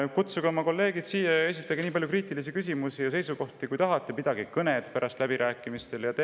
Kutsuge oma kolleegid siia ja esitage nii palju kriitilisi küsimusi ja seisukohti, kui tahate, ning pidage pärast läbirääkimiste käigus kõnesid.